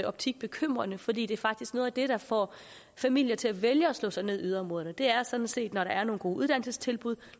optik bekymrende fordi det faktisk er noget af det der får familier til at vælge at slå sig ned i yderområderne det er sådan set når der er nogle gode uddannelsestilbud